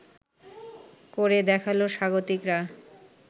করে দেখালো স্বাগতিকরা